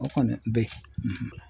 O kɔni bɛ